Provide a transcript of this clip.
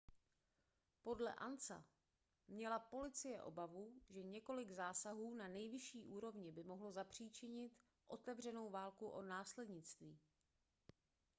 podle ansa měla policie obavu že několik zásahů na nejvyšší úrovni by mohlo zapříčinit otevřenou válku o následnictví